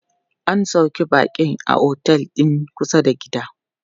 An sauƙe baƙin a otel din kusa da gida.